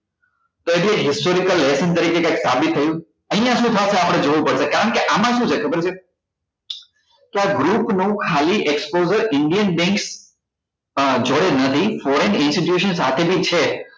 કે શુ histoeical lesson તરીકે કંઈક સાબિત થયું અહીંયા શી થશે આપડે જોવું પડશે કારણ કે આમાં શુ છે ખબર છે કે આ group નું ખાલી exposure indian banks અ જોડે નથી foreign institution સાથે બી છે